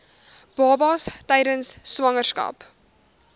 babas tydens swangerskap